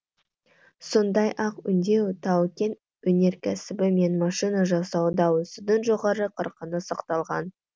сондай ақ өңдеу тау кен өнеркәсібі мен машина жасауда өсудің жоғары қарқыны сақталған